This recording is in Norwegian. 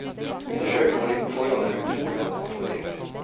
Undersøker man litt på forhand er det utrolig hva man kan få til.